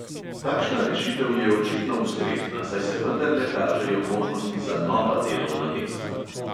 Takšna rešitev je očitno ustrezna, saj se vendarle kažejo možnosti za nova delovna mesta.